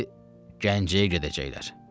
Dedi, Gəncəyə gedəcəklər.